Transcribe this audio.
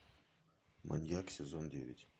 маньяк сезон девять